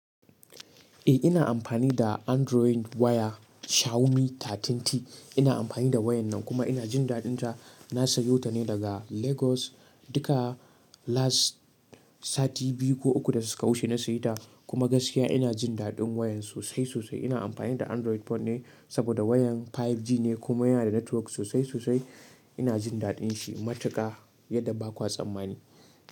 Eh ina amfani da Android waya Xiaomi 13T. Ina amfani da wayan nan kuma ina jin daɗin ta. Na sayo ta ne daga Lagos. Duka last sati biyu ko uku da suka wuce na saye ta kuma gaskiya ina jin daɗin wayan sosai, sosai. Ina amfani da Android phone ne saboda wayan 5G ne kuma yana da network sosai, sosai. Ina jindaɗinsu matuƙa yadda ba ku tsammani.